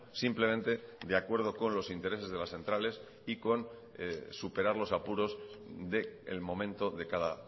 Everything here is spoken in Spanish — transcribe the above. simplemente de acuerdo con los intereses de las centrales y con superar los apuros del momento de cada